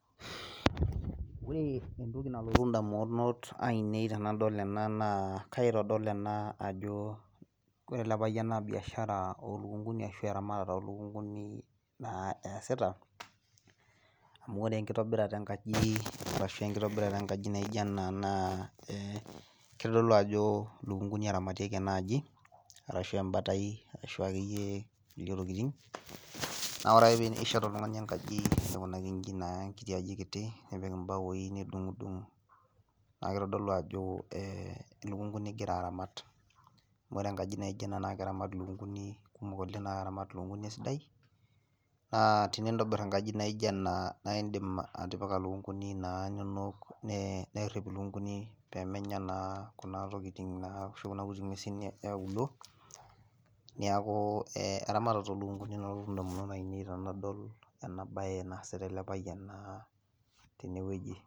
Ore entoki nalotu ndamunot ainei tenidol ena naa kaitodol ajo ore ele payian naa biashara ashu eramatare olukunkuni naa esita amu ore enkitobirata enkaji naijo ena naa keitodolu ajo lukunkuni eramatieki ena aji, orashu emabatai akeyie ekule tokiting naa ore ake pee ishet oltungani enkiti aji naa aikunaki inji nipik mbaoi nidungdung naa keitodolu ajo lukunkuni ingira aramat .amu ore enkaji naijo ena naa keramat lukunkuni kumok naa keramat lukunkuni esidai naa tinintobir enkaji naijo ena naa indim atipika lukunkuni naa inonok nerip lukunkuni inonok pee meja naa Kuna kuti ngwesin eauluo neeku eramatare oolukunkuni nalotu ndamunot tenidol ena bae naasita ele payian teneweji.